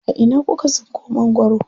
A ina kuka tsinko mangwaro?